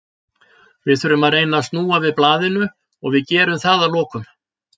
Við þurfum að reyna að snúa við blaðinu og við gerum það að lokum.